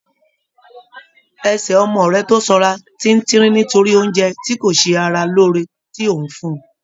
Ẹsẹ̀ ọmọ rẹ tó sanra ti tínrín nítorí oúnjẹ tí kò ṣe ara lóore tí ò ń fún un